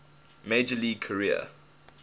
major league career